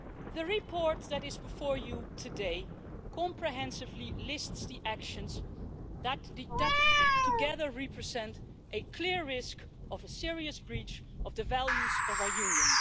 The report that is before you today comprehensively lists the actions that, together, represent a clear risk of a serious breach of the values of our Union.